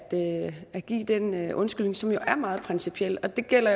at give den undskyldning som jo er meget principielt det gælder